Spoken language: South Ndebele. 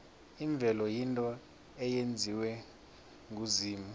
imvelo yinto eyenziwe nguzimu